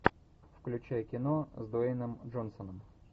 включай кино с дуэйном джонсоном